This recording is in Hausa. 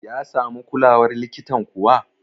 ya samu kulawar likitan kuwa?